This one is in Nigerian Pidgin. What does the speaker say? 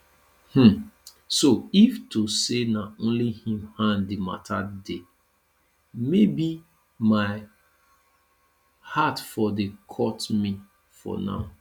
um so if to say na only im hand di mata dey maybe my heart for dey cut me for now